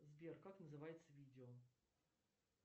сбер как называется видео